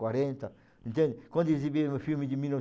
quarenta, então quando exibiram o filme de mil e